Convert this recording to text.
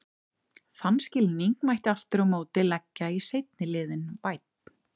Þann skilning mætti aftur á móti leggja í seinni liðinn- vænn.